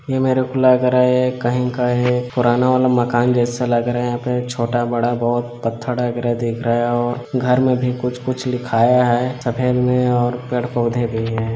ये मेरे को लग रहा है कहीं का है पुराना वाला मकान जैसा लग रहा है यहाँ पे छोटा बड़ा बहोत पत्थर टाइप का दिख रहा है और घर में भी कुछ कुछ लिखाया है सफ़ेद में और पेड़-पौधे भी है।